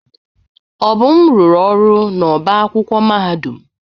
Obum rụrụ ọrụ n'ọbá akwụkwọ mahadum.